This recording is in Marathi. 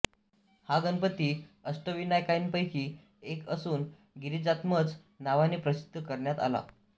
हा गणपती अष्टविनायकांपैकी एक असुन गिरीजात्मज नावाने प्रसिद्ध करण्यात आला